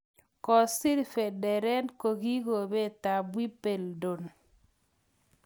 Kosir Federer kikombetap Wimbeldon